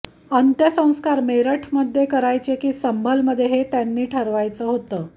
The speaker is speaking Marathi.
अंत्यसंस्कार मेरठमध्ये करायचे की संभलमध्ये हे त्यांनी ठरवायचं होते